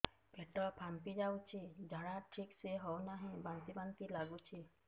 ପେଟ ଫାମ୍ପି ଯାଉଛି ଝାଡା ଠିକ ସେ ହଉନାହିଁ ବାନ୍ତି ବାନ୍ତି ଲଗୁଛି